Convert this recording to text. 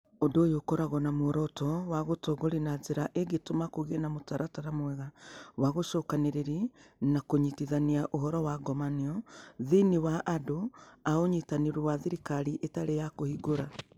Ũndũ ũyũ ũkoragwo na muoroto wa gũtongoria na njĩra ĩngĩtũma kũgĩe na mũtaratara mwega wa gũcokanĩrĩria na kũnyitithania ũhoro wa ngomanio thĩinĩ wa andũ a Ũnyitanĩri wa Thirikari Ĩtarĩ ya Kũhingũra.